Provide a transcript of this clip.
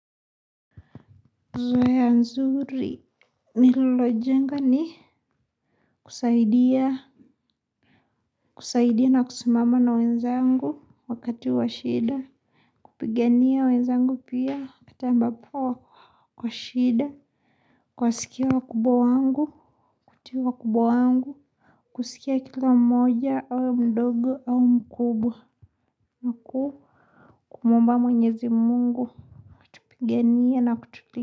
Mazoea nzuri nililo jenga ni Kusaidia Kusaidia na kusimama na wezangu wakati wa shida. Kupigania wenzangu pia wakati mbapo kwa shida kuwasikia wakubwa wangu. Kutii wakubwa wangu. Kusikia kila mmoja au mdogo au mkubwa na ku kumuomba mwenyezi Mungu. Piganie na kutulinda.